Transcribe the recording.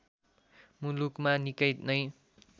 मुलुकमा निकै नै